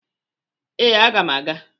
Ee, aga m aga.